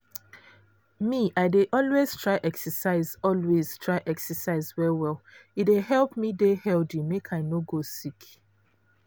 me i dey always try exercise always try exercise well well e dey help me dey healthy make i no go sick.